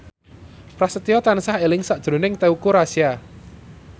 Prasetyo tansah eling sakjroning Teuku Rassya